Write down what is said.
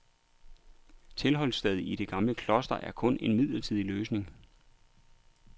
Tilholdsstedet i det gamle kloster er kun en midlertidig løsning.